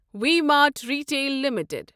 V Mart Retail limited